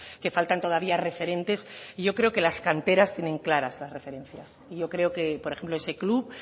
que faltan todavía referentes y yo creo que las canteras tienen claras las referencias y yo creo que por ejemplo ese club